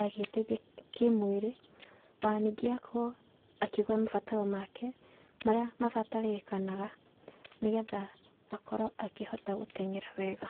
agĩĩteithia kĩmwĩrĩ, o na ningĩ akorwo akĩgũra mabataro make marĩa mabatarĩrĩkanaga nĩgetha akorwo akĩhota gũteng'era wega.